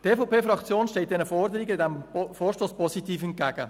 Die EVP-Fraktion steht diesem Vorstoss positiv gegenüber.